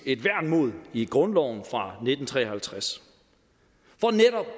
et værn mod i grundloven fra nitten tre og halvtreds